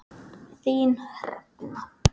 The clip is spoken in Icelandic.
Þín Hrefna.